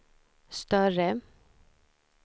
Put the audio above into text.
större